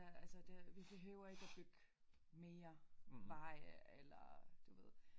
Altså det vi behøver ikke at bygge mere veje eller du ved